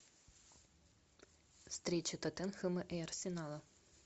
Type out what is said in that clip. встреча тоттенхэма и арсенала